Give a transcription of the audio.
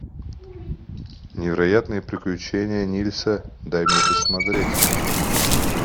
невероятные приключения нильса дай мне посмотреть